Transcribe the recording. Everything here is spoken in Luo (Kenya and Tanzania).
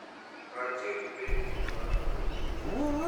Kaachiel gi betie mar ng’ato owuon.